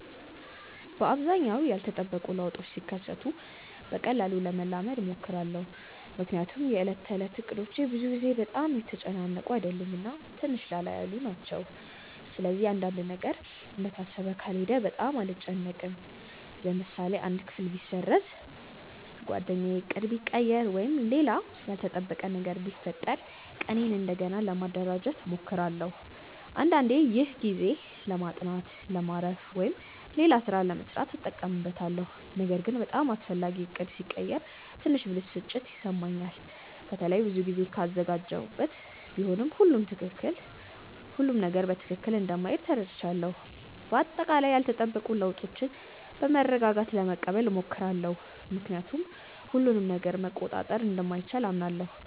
በአብዛኛው ያልተጠበቁ ለውጦች ሲከሰቱ በቀላሉ ለመላመድ እሞክራለሁ። ምክንያቱም የዕለት ተዕለት እቅዶቼ ብዙ ጊዜ በጣም የተጨናነቁ አይደሉም እና ትንሽ ላላ ያሉ ናቸው። ስለዚህ አንድ ነገር እንደታሰበው ካልሄደ በጣም አልጨነቅም። ለምሳሌ አንድ ክፍል ቢሰረዝ፣ ጓደኛ ዕቅድ ቢቀይር ወይም ሌላ ያልተጠበቀ ነገር ቢፈጠር ቀኔን እንደገና ለማደራጀት እሞክራለሁ። አንዳንዴ ይህን ጊዜ ለማጥናት፣ ለማረፍ ወይም ሌላ ሥራ ለመሥራት እጠቀምበታለሁ። ነገር ግን በጣም አስፈላጊ ዕቅድ ሲቀየር ትንሽ ብስጭት ይሰማኛል፣ በተለይ ብዙ ጊዜ ካዘጋጀሁበት። ቢሆንም ሁሉም ነገር በትክክል እንደማይሄድ ተረድቻለሁ። በአጠቃላይ ያልተጠበቁ ለውጦችን በመረጋጋት ለመቀበል እሞክራለሁ፣ ምክንያቱም ሁሉንም ነገር መቆጣጠር እንደማይቻል አምናለሁ።